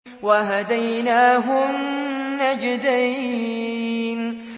وَهَدَيْنَاهُ النَّجْدَيْنِ